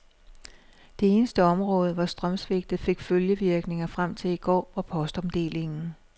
Det eneste område, hvor strømsvigtet fik følgevirkninger frem til i går, var postomdelingen.